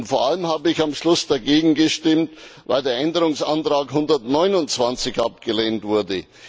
Vor allem habe ich am Schluss dagegen gestimmt, weil der Änderungsantrag 129 abgelehnt wurde.